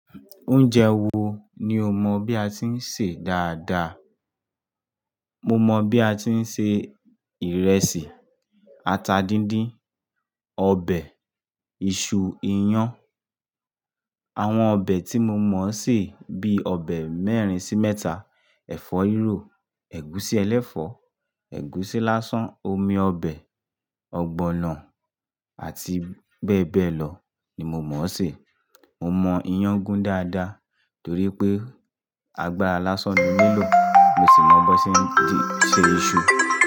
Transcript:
Oúnjẹ wo ni o mọ̀ bí a ti ń sè dáadáa? Mo mọ bí a ti ń ṣe ìrẹsì, ata díndín, ọbẹ̀, iṣu, iyán. Àwọn ọbẹ̀ tí mo mọ̀ ṣè bí ọbẹ̀ mẹ́rin sí mẹ́ta, ẹ̀fọ́ rírò, ẹ̀gúsí ẹlẹ́fọ̀ọ́, ẹ̀gúsí lásán, omi ọbẹ̀, ọgbọ̀nọ̀ àti bẹ́ẹ̀ bẹ́ẹ̀ lọ ni mo mọ̀ ṣè. Mo mọ ìyàn gún dáadáa torí pé agbára lásán ni ó nílò, mo sì mọ bó ṣe ń jí ṣe iṣu.